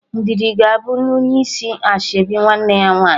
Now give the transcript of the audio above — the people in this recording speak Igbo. Ndidi ga-abụ onye isi ashebi nwanne ya nwaanyị